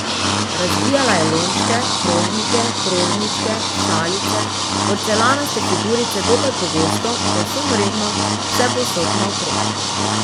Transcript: Razbijala je lončke, krožnike, krožničke, šalice, porcelanaste figurice dokaj pogosto, povsem redno, vsepovsod naokrog.